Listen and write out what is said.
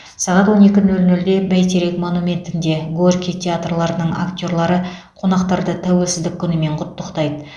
сағат он екі нөл нөлде бәйтерек монументінде горький театрларының актерлары қонақтарды тәуелсіздік күнімен құттықтайды